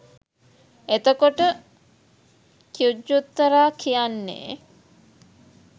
එතකොට ඛුජ්ජුත්තරා කියන්නේ